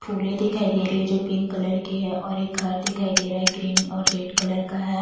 फूलें दिखाई दे रही हैं जो पिंक कलर की है और एक घर दिखाई दे रहा है ग्रीन और रेड कलर का है।